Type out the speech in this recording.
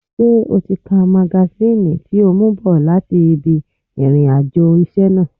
Ṣé o ti ka magasíìnì tí o mú bọ̀ láti ibi ìrìn àjò iṣẹ́ náà?